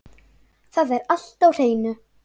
Það er allt á hreinu